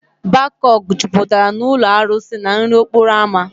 Bakok jupụtara na ụlọ arụsị na nri okporo ámá.